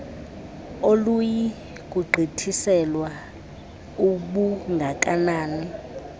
aluyi kugqithiselwa ubungakanani